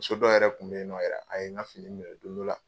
Muso dɔ yɛrɛ kun bɛ yen nɔ yɛrɛ a ye n ka fini minɛ don dɔ la sugu la.